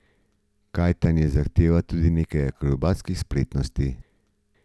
Kajtanje zahteva tudi nekaj akrobatskih spretnosti.